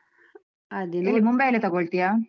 ಎಲ್ಲಿ ಮುಂಬೈಯಲ್ಲೇ ತಗೋಳ್ತ್ಯಾ?